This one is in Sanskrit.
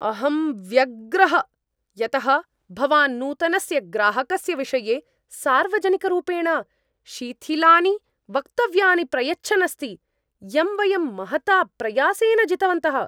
अहं व्यग्रः यतः भवान् नूतनस्य ग्राहकस्य विषये सार्वजनिकरूपेण शिथिलानि वक्तव्यानि प्रयच्छन् अस्ति, यं वयं महता प्रयासेन जितवन्तः।